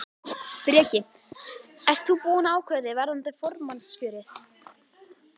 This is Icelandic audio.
Breki: Ert þú búinn að ákveða þig varðandi formannskjörið?